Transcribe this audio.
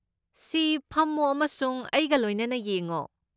ꯁꯤ! ꯐꯝꯃꯣ ꯑꯃꯁꯨꯡ ꯑꯩꯒ ꯂꯣꯏꯅꯅ ꯌꯦꯡꯉꯣ꯫